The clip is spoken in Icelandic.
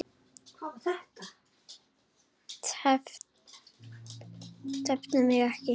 Tefðu mig ekki.